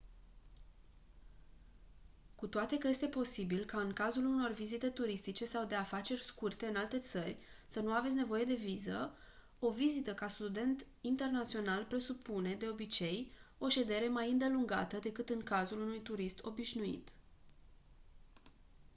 cu toate că este posibil ca în cazul unor vizite turistice sau de afaceri scurte în alte țări să nu aveți nevoie de viză o vizită ca student internațional presupune de obicei o ședere mai îndelungată decât în cazul unui turist obișnuit